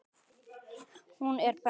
Hún er best.